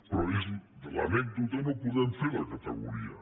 però de l’anècdota no podem fer la categoria